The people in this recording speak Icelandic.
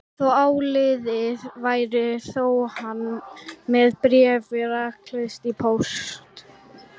Þótt áliðið væri fór hann með bréfið rakleitt í póst.